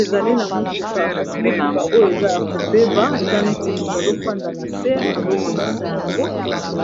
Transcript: Ezali na motuka kasi motuka oyo eza ya kobeba eza neti moto azofanda na se azobongisa yango